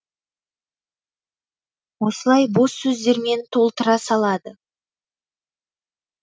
осылай бос сөздермен толтыра салады